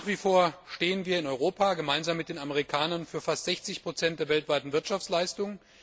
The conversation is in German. Nach wie vor stehen wir in Europa gemeinsam mit den Amerikanern für fast 60 der weltweiten Wirtschaftsleistung.